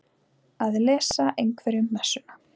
Að lesa einhverjum messuna